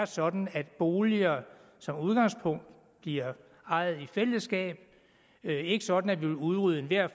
sådan at boliger som udgangspunkt bliver ejet i fællesskab ikke sådan at vi vil udrydde enhver